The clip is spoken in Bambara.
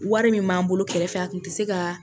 Wari min b'an bolo kɛrɛfɛ a tun tɛ se ka